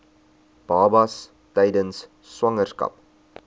babas tydens swangerskap